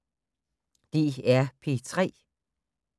DR P3